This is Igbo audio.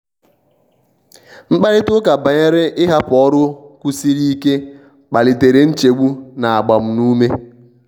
mkparịta ụta banyere ịhapụ ọrụ kwụsiri ike kpalitere nchegbu na agbamume.